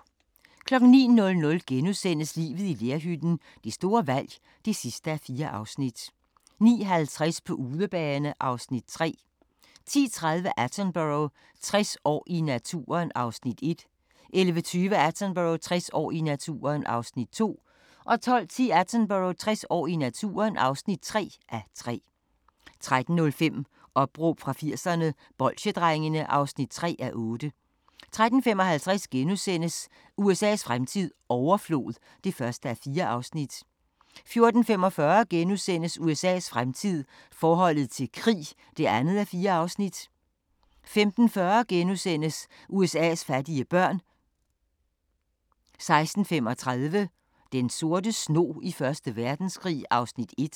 09:00: Livet i lerhytten – det store valg (4:4)* 09:50: På udebane (Afs. 3) 10:30: Attenborough – 60 år i naturen (1:3) 11:20: Attenborough – 60 år i naturen (2:3) 12:10: Attenborough – 60 år i naturen (3:3) 13:05: Opråb fra 80'erne - Bolsjedrengene (3:8) 13:55: USA's fremtid - overflod (1:4)* 14:45: USA's fremtid - forholdet til krig (2:4)* 15:40: USA's fattige børn * 16:35: Den sorte snog i 1. Verdenskrig (1:6)